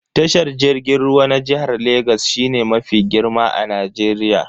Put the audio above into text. Tashar jirgin ruwa na jihar Legas shine mafi girma a Najeriya.